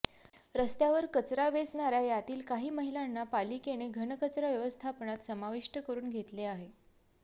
रस्त्यावर कचरा वेचणार्या यातील काही महिलांना पालिकेने घनकचरा व्यवस्थापनात समाविष्ठ करून घेतले आहे